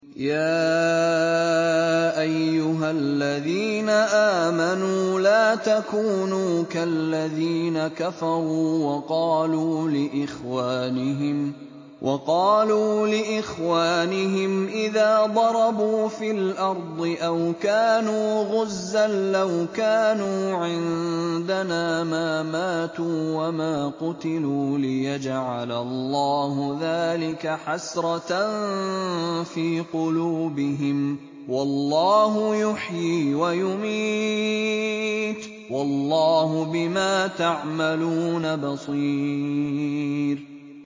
يَا أَيُّهَا الَّذِينَ آمَنُوا لَا تَكُونُوا كَالَّذِينَ كَفَرُوا وَقَالُوا لِإِخْوَانِهِمْ إِذَا ضَرَبُوا فِي الْأَرْضِ أَوْ كَانُوا غُزًّى لَّوْ كَانُوا عِندَنَا مَا مَاتُوا وَمَا قُتِلُوا لِيَجْعَلَ اللَّهُ ذَٰلِكَ حَسْرَةً فِي قُلُوبِهِمْ ۗ وَاللَّهُ يُحْيِي وَيُمِيتُ ۗ وَاللَّهُ بِمَا تَعْمَلُونَ بَصِيرٌ